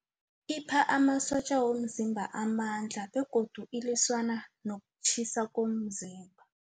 Ipha amasotja womzimba amandla begodu iliswana nokutjhisa komzimba.